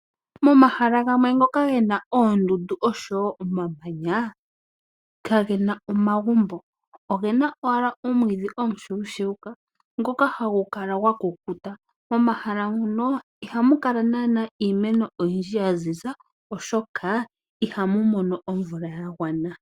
Momahala gamwe ngoka ge na oondundu oshowo omamanya kage na omagumbo . Oge na owala omwiidhi omushuushuuka ngoka hagu kala gwa kukuta. Momahala muno ihamu kala naana iimeno oyindji ya ziza oshoka ihamu mono omvula ya gwana.